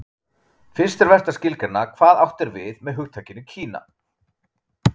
Fyrst er vert að skilgreina hvað átt er við með hugtakinu Kína.